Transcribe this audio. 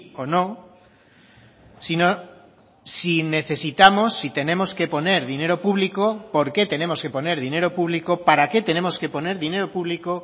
o no sino si necesitamos si tenemos que poner dinero público por qué tenemos que poner dinero público para qué tenemos que poner dinero público